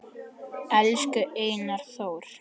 Elsku Einar Þór